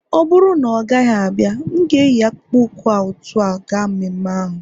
ọ bụrụ na ọ gaghị abịa, m ga-eyi akpụkpọ ụkwụ a otú a ga mmemme ahụ